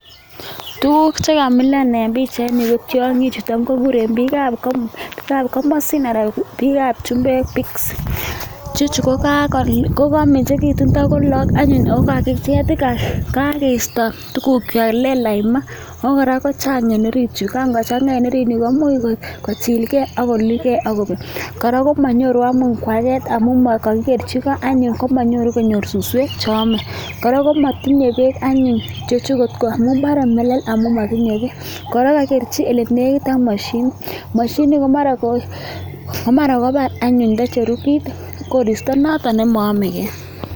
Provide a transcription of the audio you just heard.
Tuguk che kamilan en pichait ko tiong'ichu tam koguren biikab komosin anan chumbek pigs ichechu komengechen tago lagok anyun ago kaging'et kagistotugukywak, lelach maa! Ago kora chang en orit yu, ngochan'a en orini koimuch ko chilge agoluch ge ak kobek. Kora komanyoru anyun koaget amun kogikerchi go anyun komanyoru konyor suswek che ame. Kora komotinye beek anyun bore melel amun motinye beek. Kora kagikerchi ole negit ak moshinit. Moshinini ko mara kobar anyun ndocheru koristo noton nemonomege.